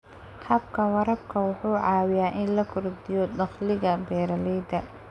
Habka waraabka wuxuu caawiyaa in la kordhiyo dakhliga beeralayda.